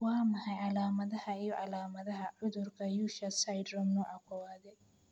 Waa maxay calaamadaha iyo calaamadaha cudurka Usher syndrome, nooca kowaadE?